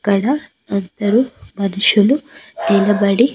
ఇక్కడ ఇద్దరు మనుషులు నిలబడి.